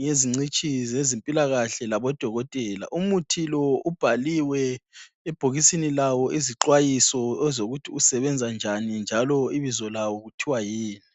ngezingcitshi zezempilakahle labodokotela. Umuthi lo ubhaliwe ebhokisini lawo izixwayiso ezokuthi usebenza njani njalo ibizo lawo kuthiwa yini